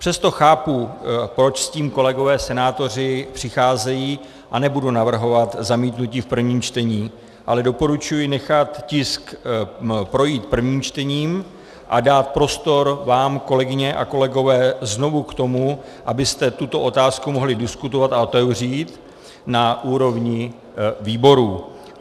Přesto chápu, proč s tím kolegové senátoři přicházejí, a nebudu navrhovat zamítnutí v prvním čtení, ale doporučuji nechat tisk projít prvním čtením a dát prostor vám, kolegyně a kolegové, znovu k tomu, abyste tuto otázku mohli diskutovat a otevřít na úrovni výborů.